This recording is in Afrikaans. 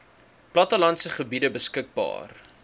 plattelandse gebiede beskikbaar